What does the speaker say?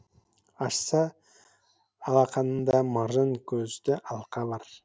ашса алақанында маржан көзді алқа бар